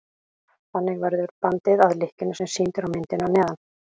þannig verður bandið að lykkjunni sem sýnd er á myndinni að neðan